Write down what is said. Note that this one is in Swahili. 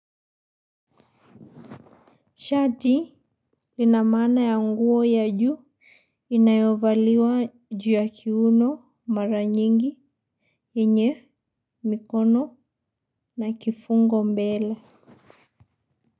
Shati lina maana ya nguo ya juu inayovaliwa juu ya kiuno mara nyingi, yenye, mikono na kifungo mbele.